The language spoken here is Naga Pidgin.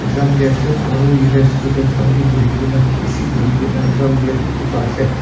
Exam dhi ase aro yatheh students khan bhi buhi kena beshi buhi kena exam dya dekhi pa ase.